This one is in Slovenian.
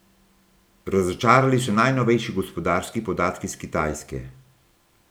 Razočarali so najnovejši gospodarski podatki s Kitajske.